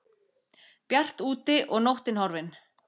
Bjart úti og nóttin horfin.